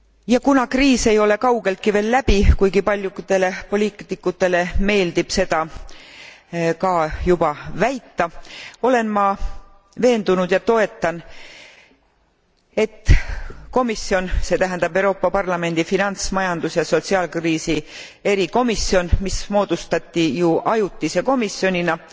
Ja kuna kriis ei ole kaugeltki veel läbi, kuigi paljudele poliitikutele meeldib seda juba väita, olen ma veendunud ja toetan, et komisjon, see tähendab Euroopa Parlamendi finants majandus ja sotsiaalkriisi erikomisjon, mis moodustati ju ajutise komisjonina,